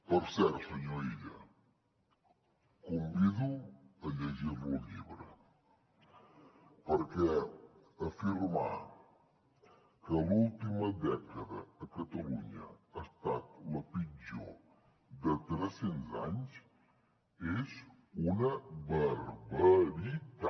per cert senyor illa el convido a llegir lo el llibre perquè afirmar que l’última dècada a catalunya ha estat la pitjor de tres cents anys és una barbaritat